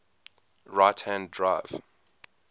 right hand drive